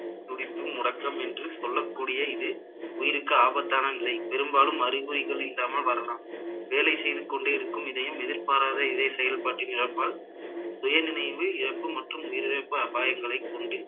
துடிப்பு முடக்கம் என்று சொல்லக்கூடிய இது உயிருக்கு ஆபத்தான நிலை பெரும்பாலும் அறிகுறிகள் இல்லாமல் வரலாம் வேலை செய்து கொண்டே இருக்கும் இதயம் எதிர்பாராத இதய செயல்பாட்டின் இழப்பால் சுயநினைவு இழப்பு மற்றும் உயிரிழப்பு அபாயங்களை கொண்டு